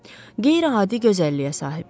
Qeyri-adi gözəlliyə sahib idi.